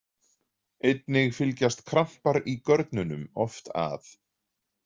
Einnig fylgjast krampar í görnunum oft að.